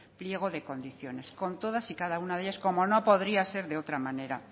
pliego de condiciones con todas y cada una de ellas como no podría ser de otra manera